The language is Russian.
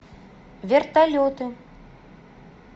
вертолеты